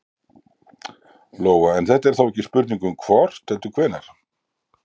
Lóa: En þetta er þá ekki spurning um hvort heldur hvenær?